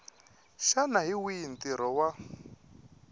xana hi wihi ntirho wa